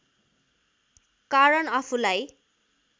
कारण आफूलाई